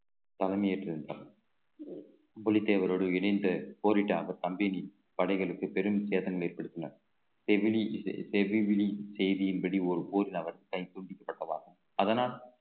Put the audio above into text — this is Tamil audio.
தலைமையேற்று நின்றார் புலித்தேவரோடு இணைந்து போரிட்ட அந்த company படைகளுக்கு பெரும் சேதங்கள் ஏற்படுத்தினார் செய்தியின்படி ஒரு ஊரில் அவர் கை துண்டிக்கப்பட்டதாகும் அதனால்